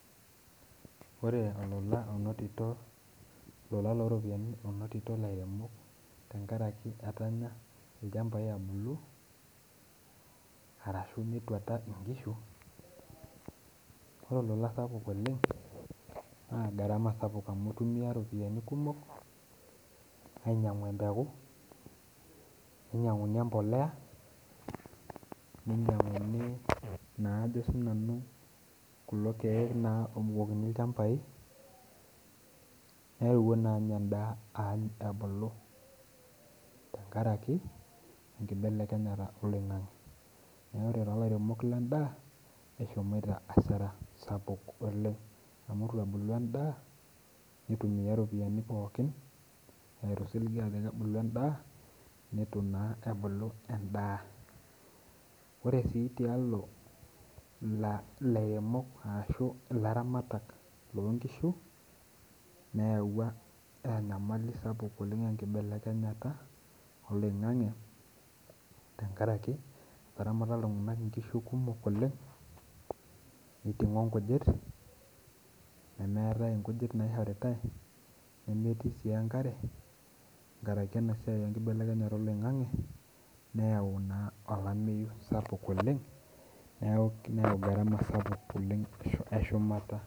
Ore olola onotito, ola loo iropiyiani onotito lairemok tengaraki etanya ilchambai ebulu arashu etuata inkishu, ore ilula sapuk oleng naa garama sapuk amu intumiya iropiyiani kumok ainyangu empeku, neinyangui empolea, neinyanguni naa sii ajo nanu kulo irkeek naa oobukokini ilchambai, neewuo naa ninye ana indaa aany ebulu tengaraki enkibelekenyata eloing'ang'e, naa ore taa ilairemok lee indaa eshomo asara sapuk oleng amu etu ebulu endaa, neitumiya iropiyiani pookin arashu neitu ebulu endaa, netu naa ebulu endaa, ore si tealo ilairemok arashu laramatak loo inkishu, neawua enyamali sapuk oleng enkibelekenyata eloing'ang'e, tengaraki etaramata iltunganak inkishu kumok oleng, neitung'o inkujit, nemeetae inkujit naishoritae, nemetii sii enkare tengaraki ena siai enkibelekenyata eloing'ang'e neayau naa olameiyu sapuk oleng neyau garama sapuk oleng eshumata.